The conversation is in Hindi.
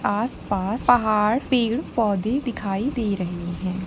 आस- पास पहाड़ पेड़ पोधे दिखाई दे रहे है।